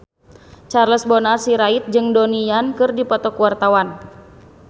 Charles Bonar Sirait jeung Donnie Yan keur dipoto ku wartawan